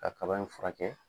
Ka kaba in furakɛ.